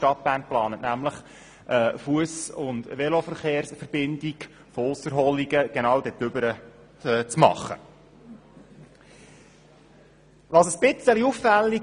Die Stadt Bern plant, eine Fuss- und Veloverbindung genau dorthin zu erstellen.